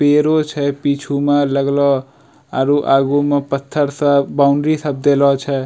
पेड़ो छे पीछू में लगलो आरु आगू में पत्थर सब बाउंड्री सब देलो छे।